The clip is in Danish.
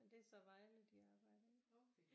Men det er så Vejle de arbejder i